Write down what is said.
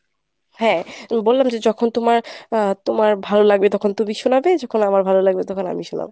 হ্যাঁ, বললাম যে যখন তোমার আহ তোমার ভালো লাগবে তখন তুমি শোনাবে যখন আমার ভালো লাগবে তখন আমি শোনাবো।